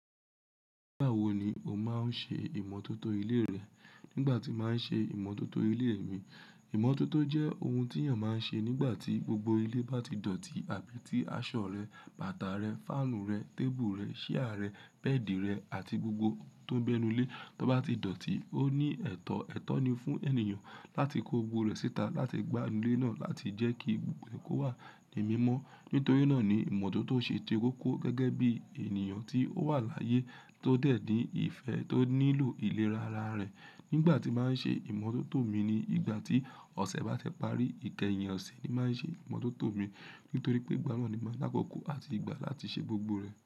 Nígbà wo ni o máa ń ṣe ìmọ́tótó ilé rẹ? Nígbà tí màá n ṣe ìmọ́tótó ilé mi. Ìmọ́tótó jẹ́ ohun tí èèyàn máa ń ṣe nígbà tí gbogbo ilé bá ti dọ̀tí àbí tí aṣọ rẹ, bàtà rẹ, fáànù rẹ, tébùù rẹ, ṣíà rẹ, bẹ́ẹ̀dì rẹ àti gbogbo ohun tó ń bẹ nu ilé, tó bá ti dọ̀tí. Ó ní ẹ̀tọ́, ẹ̀tọ́ ni fún ènìyàn láti kó gbogbo rẹ̀ síta láti gbá ilé náà láti jẹ́ kí gbogbo e kó wà ní mímọ́. Nítorí náà ni ìmọ́tótó ṣe koko gẹ́gẹ́ bí èniyàn tí ó wà láyé tó dẹ̀ ní ìfẹ́ tó nílò ìlera ara rẹ̀. Nígbà tí màá ń ṣe ìmọ́tótó mi ni ìgbà tí ọ̀sẹ̀ bá ti parí. Ikeyin ọ̀sẹ̀ ni màá ń ṣe ìmọ́tótó mi. Nítorí pé ìgbà náà ni màá ni àkọkọ àti igbà láti ṣe gbogbo rẹ̀.